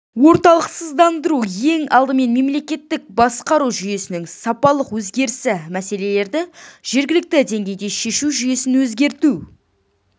орталықсыздандыру ең алдымен мемлекеттік басқару жүйесінің сапалық өзгерісі мәселелерді жергілікті деңгейде шешу жүйесін өзгерту